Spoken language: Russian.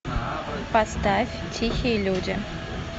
поставь тихие люди